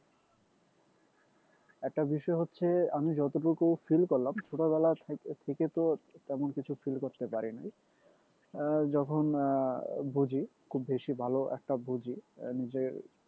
একটা বিষয় হচ্ছে আমি যতটুকু feel করলাম ছোটবেলা থেকে থেকে তো তেমন কিছু feel করতে পারি নাই আহ যখন আহ বুঝি খুব বেশি ভালো একটা বুঝি আহ নিজের